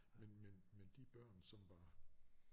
Men men men de børn som var